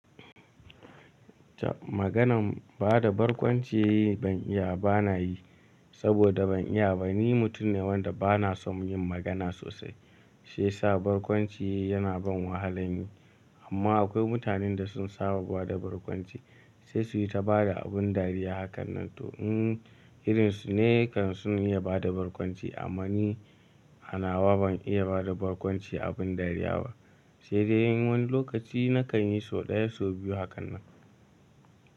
Ta maganan bada barkwanci ban iya ba na yi, saboda ban iya ba. Ni mutum ne wanda ba na son yin magana sosai. Sai sa barkwanci yana ban wahala ne. Amma akwai mutanen da sun saba da barkwanci, sai su yi ta bada abin dariya hakan nan. To, mm irinsu ne kan sun iya bada barkwanci. Amma ni a nawa ban iya bada barkwanci abin dariya ba. Sai dai in wani lokaci na kan yi so ɗaya so biyu hakan nan.